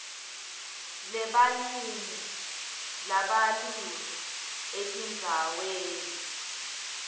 lebalimi labalima etindzaweni